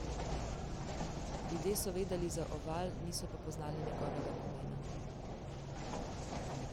Ljudje so vedeli za oval, niso pa poznali njegovega pomena.